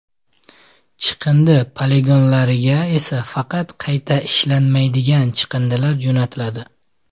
Chiqindi poligonlariga esa faqat qayta ishlanmaydigan chiqindilar jo‘natiladi.